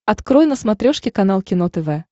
открой на смотрешке канал кино тв